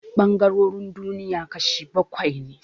Ɓangarorin duniya kashi bakwai ne